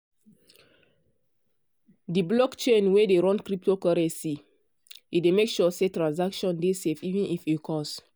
de blockchain wey dey run cryptocurrency e dey make sure say transaction dey safe even if e cost.